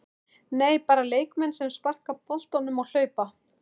Nei, Bara leikmenn sem sparka boltanum og hlaupa?